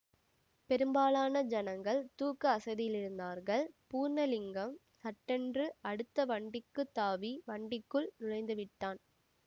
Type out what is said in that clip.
பெரும்பாலான ஜனங்கள் தூக்க அசதியிலிருந்தார்கள் பூர்ணலிங்கம் சட்டென்று அடுத்த வண்டிக்குத் தாவி வண்டிக்குள் நுழைந்துவிட்டான்